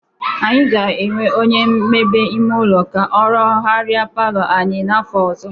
Anyị ga-ewe onye mmebe ime ụlọ ka ọ rụgharịa palọ anyị n'afọ ọzọ.